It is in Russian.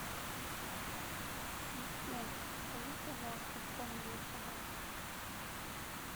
ассистент закажи пожалуйста корм для собак